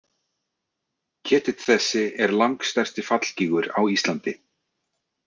Ketill þessi er langstærsti fallgígur á Íslandi.